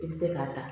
I bɛ se k'a ta